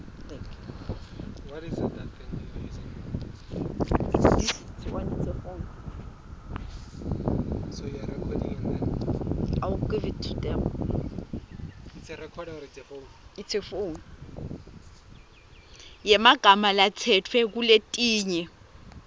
yemagama latsetfwe kuletinye